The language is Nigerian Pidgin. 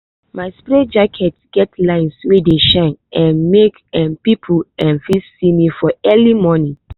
my spray jacket get lines wey dey shine um make um people um fit see me for early morning.